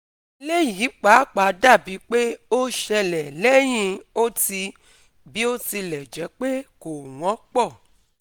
Eléyìí pàápàá dàbí pé ó ṣẹlẹ̀ lẹ́yìn ó ti (bí ó tilẹ̀ jẹ́ pé kò wọ́npọ̀